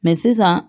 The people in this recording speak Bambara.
Mɛ sisan